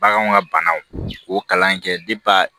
Baganw ka banaw k'o kalan in kɛ